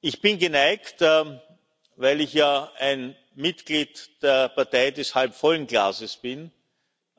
Ich bin geneigt weil ich ja ein Mitglied der Partei des halbvollen Glases bin zu